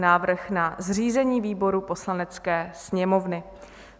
Návrh na zřízení výborů Poslanecké sněmovny